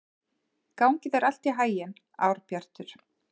Gangi þér allt í haginn, Árbjartur.